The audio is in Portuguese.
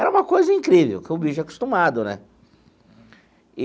Era uma coisa incrível, porque o bicho é acostumado né e.